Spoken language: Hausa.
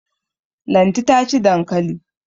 Lanti ta ci dankali.